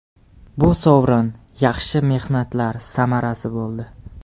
Bu sovrin yaxshi mehnatlar samarasi bo‘ldi.